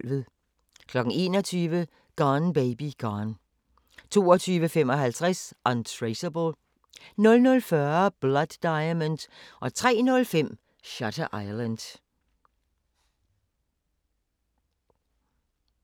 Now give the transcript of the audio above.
21:00: Gone Baby Gone 22:55: Untraceable 00:40: Blood Diamond 03:05: Shutter Island